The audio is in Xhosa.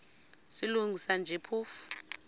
silungisa nje phofu